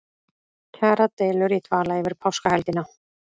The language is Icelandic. Kjaradeilur í dvala yfir páskahelgina